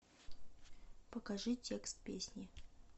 покажи текст песни